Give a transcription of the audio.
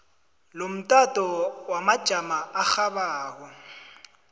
lomtato wamajamo arhabako